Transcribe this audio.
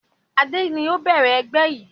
Adé ni ó bẹ̀rẹ̀ ẹgbẹ́ yìí